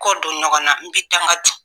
Kɔ don ɲɔgɔn na, n bɛ dangan don.